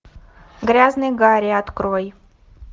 грязный гарри открой